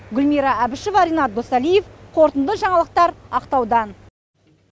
гүлмира әбішева ренат досалиев қорытынды жаңалықтар ақтаудан